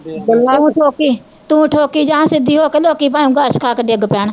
ਤੂੰ ਠੋਕੀ, ਤੂੰ ਠੋਕੀ ਜਾਂ ਸਿੱਧੀ ਹੋਕੇ ਲੋਕੀ ਭਾਂਵੇ ਖਸ ਖਾਕੇ ਡਿੱਗ ਪੈਣ